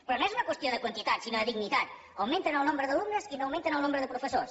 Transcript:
però no és una qüestió de quantitat sinó de dignitat augmenten el nombre d’alumnes i no augmenten el nombre de professors